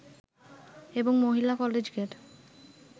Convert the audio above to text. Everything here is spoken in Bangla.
এবং মহিলা কলেজ গেট